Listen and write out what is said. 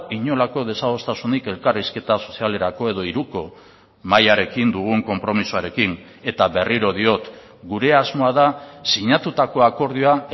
inolako desadostasunik elkarrizketa sozialerako edo hiruko mahiarekin dugun konpromisoarekin eta berriro diot gure asmoa da sinatutako akordioa